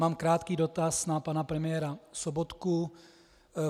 Mám krátký dotaz na pana premiéra Sobotku.